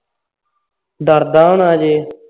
ਡਰਦਾ ਹੋਣਾ ਅਜੇ